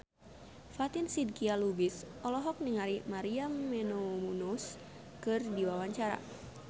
Fatin Shidqia Lubis olohok ningali Maria Menounos keur diwawancara